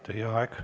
Teie aeg!